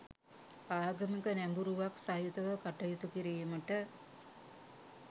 ආගමික නැඹුරුවක් සහිතව කටයුතු කිරීමට